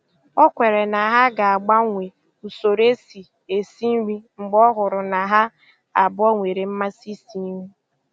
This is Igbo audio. O kwere na ha ga-agbanwe usoro e si esi nri mgbe ọ hụrụ na ha abụọ nwere mmasị isi nri.